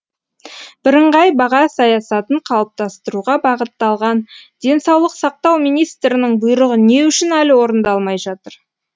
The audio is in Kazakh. бірыңғай баға саясатын қалыптастыруға бағытталған денсаулық сақтау министрінің бұйрығы не үшін әлі орындалмай жатыр